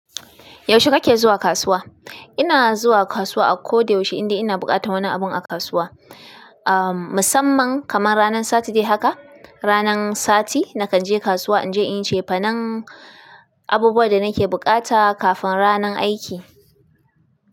Yaushe kake zuwa kasuwa? Ina zuwa kasuwa a ko da yaushe inda ina buƙatan wani abu a kasuwa. Ah, musamman kamar ranan Saturday haka, ranan Sati nakan je kasuwa inje inyi cefanen abubuwan da nake bukata kafin ranan aiki.